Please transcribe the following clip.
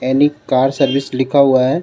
Anne car service लिखा हुआ हे.